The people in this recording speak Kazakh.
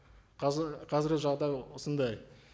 қазір қазіргі жағдай осындай